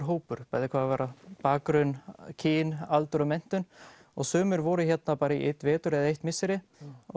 hópur bæði hvað varðar bakgrunn kyn aldur og menntun og sumir voru hérna bara í einn vetur eða eitt misseri